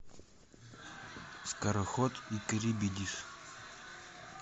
скороход и карибидис